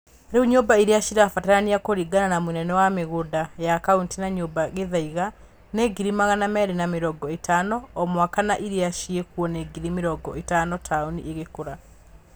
Rĩu nyũmba iria cirabatarania kũringana na mũnene wa migũnda ya Kaũnti na nyumba Gĩthaiga, nĩ ngiri magana merĩ na mĩrongo ĩtano o mwaka no iria cĩekuo nĩ ngiri mĩrongo ĩtano taũni ĩgĩkura.